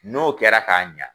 N'o kɛra ka ɲa